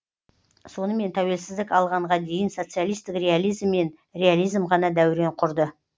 сонымен тәуелсіздік алғанға дейін социалистік реализм мен реализм ғана дәурен құрды